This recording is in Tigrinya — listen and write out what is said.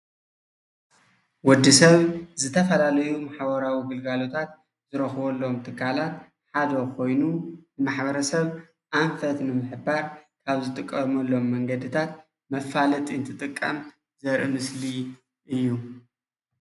ወዲ ሰብ ዝተፈላለዩ ማሕበራዊ ግልጋሎታት ዝረክበሎም ትካላት ሓደ ኮይኑ ማሕበረሰብ ኣንፈት ንምሕባር ካብ ዝጥቀመሎም መንገዲታት ዝጥቀም መፋለጢ ዘርኢ ምስሊ እዩ፡፡